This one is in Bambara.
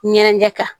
Ɲɛnɛ ɲɛ kan